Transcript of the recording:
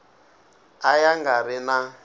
a ya nga ri na